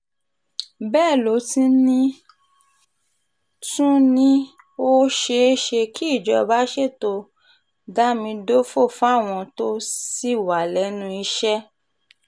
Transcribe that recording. bẹ́ẹ̀ ló tún ní tún ní ó ṣeé ṣe kí ìjọba ṣètò dámidòfo fáwọn tó ṣì wà lẹ́nu iṣẹ́